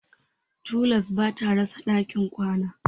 Tolas ba ta rasa ɗakin kwana.